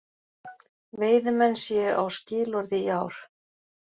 Veiðimenn séu á skilorði í ár